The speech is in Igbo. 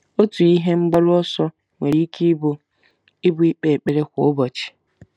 Otu ihe mgbaru ọsọ nwere ike ịbụ ịbụ ikpe ekpere kwa ụbọchị.